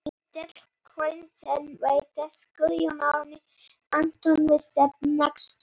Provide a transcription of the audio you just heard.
Ennþá er óljóst hvar bakvörðurinn Guðjón Árni Antoníusson mun spila næsta sumar.